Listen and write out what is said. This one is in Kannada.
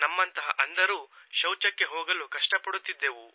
ನಮ್ಮಂತಹ ಅಂಧರು ಶೌಚಕ್ಕೆ ಹೋಗಲು ಕಷ್ಟಪಡುತ್ತಿದ್ದೆವು